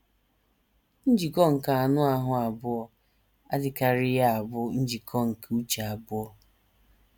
Njikọ nke anụ ahụ́ abụọ adịkarịghị abụ njikọ nke uche abụọ.